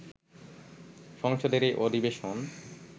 সংসদের এই অধিবেশন